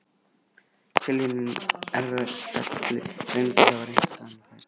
Tilviljun, erfðagalli, reyndist hafa reyrt á henni fæturna.